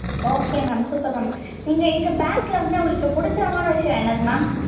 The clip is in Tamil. okay mam super mam. நீங்க எங்க bank ல வந்து உங்களுக்கு புடிச்சமான விஷயம் என்னது mam?